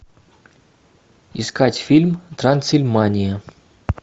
искать фильм трансильмания